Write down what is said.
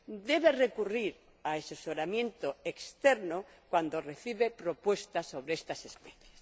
debe recurrir a asesoramiento externo cuando recibe propuestas sobre estas especies.